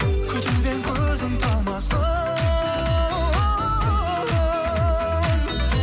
күтуден көзің талмасын